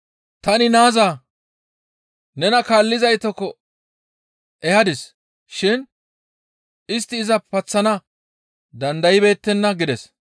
Tani naaza nena kaallizaytakko ehadis shin istti iza paththana dandaybeettenna» gides.